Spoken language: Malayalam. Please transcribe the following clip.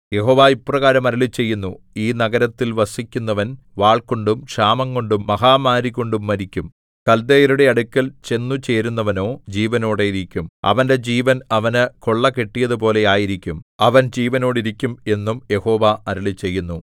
യഹോവ ഇപ്രകാരം അരുളിച്ചെയ്യുന്നു ഈ നഗരത്തിൽ വസിക്കുന്നവൻ വാൾകൊണ്ടും ക്ഷാമംകൊണ്ടും മഹാമാരികൊണ്ടും മരിക്കും കൽദയരുടെ അടുക്കൽ ചെന്നു ചേരുന്നവനോ ജീവനോടെയിരിക്കും അവന്റെ ജീവൻ അവന് കൊള്ള കിട്ടിയതുപോലെ ആയിരിക്കും അവൻ ജീവനോടിരിക്കും എന്നും യഹോവ അരുളിച്ചെയ്യുന്നു